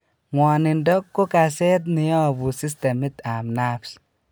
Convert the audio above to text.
Ng'wonindo ko kaseet neyobu systemit ab nerves